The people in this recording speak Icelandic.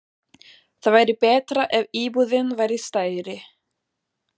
Það væri betra ef íbúðin væri stærri.